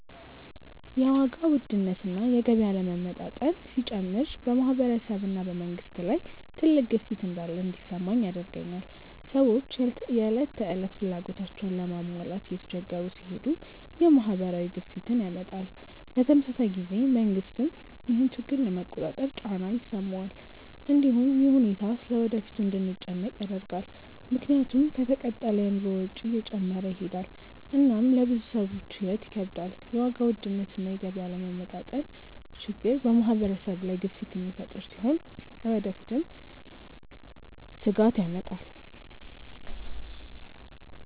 የዋጋ ውድነት እና የገቢ አለመመጣጠን ሲጨምር በማህበረሰብ እና በመንግስት ላይ ትልቅ ግፊት እንዳለ እንዲሰማኝ ያደርገኛል። ሰዎች የዕለት ተዕለት ፍላጎታቸውን ለመሟላት እየተቸገሩ ሲሄዱ ይህ ማህበራዊ ግፊትን ያመጣል። በተመሳሳይ ጊዜ መንግስትም ይህን ችግር ለመቆጣጠር ጫና ይሰማዋል። እንዲሁም ይህ ሁኔታ ስለ ወደፊቱ እንድንጨነቅ ያደርጋል፣ ምክንያቱም ከተቀጠለ የኑሮ ወጪ እየጨመረ ይሄዳል እና ለብዙ ሰዎች ሕይወት ይከብዳል። የዋጋ ውድነት እና የገቢ አለመመጣጠን ችግር በማህበረሰብ ላይ ግፊት የሚፈጥር ሲሆን ለወደፊትም ስጋት ያመጣል።